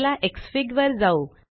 चला एक्सफिग वर जाऊ